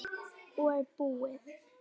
Og búið.